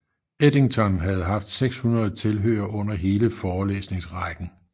Eddington havde haft 600 tilhørere under hele forelæsningsrækken